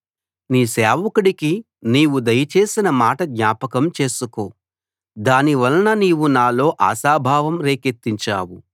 నీ సేవకుడికి నీవు దయచేసిన మాట జ్ఞాపకం చేసుకో దానివలన నీవు నాలో ఆశాభావం రేకెత్తించావు